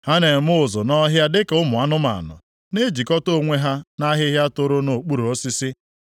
Ha na-eme ụzụ nʼọhịa dịka ụmụ anụmanụ, na-ejikọta onwe ha nʼahịhịa toro nʼokpuru osisi.